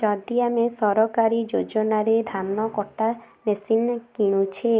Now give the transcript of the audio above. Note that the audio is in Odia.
ଯଦି ଆମେ ସରକାରୀ ଯୋଜନାରେ ଧାନ କଟା ମେସିନ୍ କିଣୁଛେ